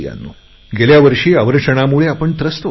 गेल्या वर्षी दुष्काळामुळे आपण त्रस्त होतो